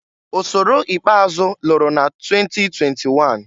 Ọsọrọ ikpeazụ lụrụ na 2021.